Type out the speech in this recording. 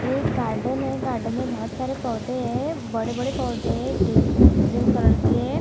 एक गार्डन है गार्डन में बहुत सारे पौधे हैं बड़े-बड़े पौधे है ग्रीन ग्रीन कलर के--